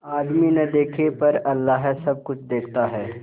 आदमी न देखे पर अल्लाह सब कुछ देखता है